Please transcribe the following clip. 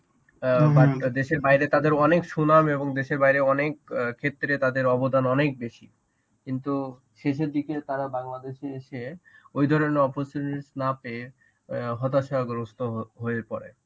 অ্যাঁ but দেশের বাইরে তাদের অনেক সুনাম এবং দেশের বাইরে অনেক অ্যাঁ ক্ষেত্রে তাদের অবদান অনেক বেশি কিন্তু শেষের দিকে তারা বাংলাদেশে এসে ওই ধরনের opportunities না পেয়ে হতাশাগ্রস্ত হ~ হয়ে পড়ে.